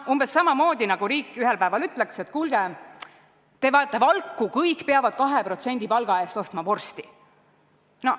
Umbes samamoodi, nagu riik ühel päeval ütleks, et kuulge, te vajate valku, kõik peavad 2% palga eest ostma vorsti.